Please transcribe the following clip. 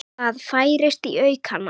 Það færist í aukana.